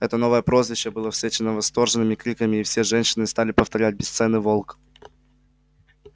это новое прозвище было встречено восторженными криками и все женщины стали повторять бесценный волк